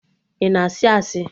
Ị na-asị asị!